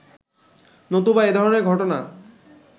নতুবা এধরণের ঘটনা